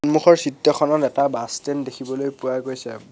সন্মুখৰ চিত্ৰখনত এটা বাছ ষ্টেণ্ড দেখিবলৈ পোৱা গৈছে।